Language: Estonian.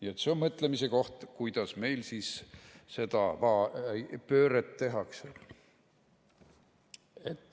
Nii et see on mõtlemise koht, kuidas meil siis seda va pööret tehakse.